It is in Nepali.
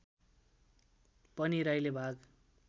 पनि राईले भाग